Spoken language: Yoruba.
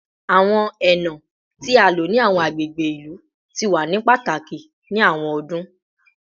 Awọn ena ti a lo ni awọn agbegbe ilu ti wa ni pataki ni awọn ọdun